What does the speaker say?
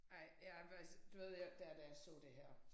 Ej jeg faktisk du ved jeg der da jeg så det her